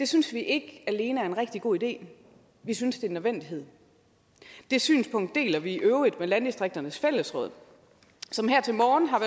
synes vi ikke alene er en rigtig god idé vi synes en nødvendighed det synspunkt deler vi i øvrigt med landdistrikternes fællesråd som her til morgen har